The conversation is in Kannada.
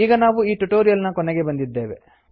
ಈಗ ನಾವು ಈ ಟ್ಯುಟೊರಿಯಲ್ ನ ಕೊನೆಗೆ ಬಂದಿದ್ದೇವೆ